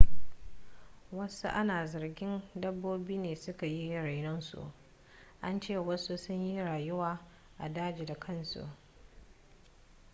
wasu ana zargin dabbobi ne suka yi rainon su an ce wasu sun yi rayuwa a daji da kansu